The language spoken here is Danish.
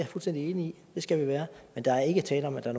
fuldstændig enig i det skal vi være men der er ikke tale om at der